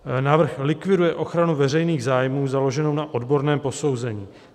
"Návrh likviduje ochranu veřejných zájmů založenou na odborném posouzení.